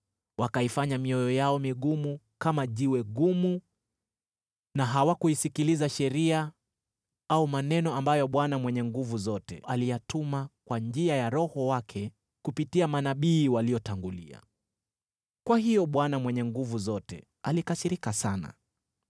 Wakaifanya mioyo yao migumu kama jiwe gumu na hawakuisikiliza sheria au maneno ambayo Bwana Mwenye Nguvu Zote aliyatuma kwa njia ya Roho wake kupitia manabii waliotangulia. Kwa hiyo Bwana Mwenye Nguvu Zote alikasirika sana.